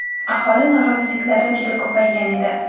Aholi noroziliklari juda ko‘paygan edi.